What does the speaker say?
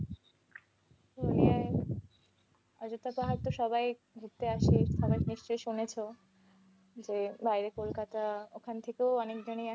পুরুলিয়ায়, অজন্তা পাহাড়ে তো সবাই ঘুরতে আসে, সবাই নিশ্চয়ই শুনেছ যে বাইরে কলকাতা ওখান থেকেও অনেক জনেই আসে।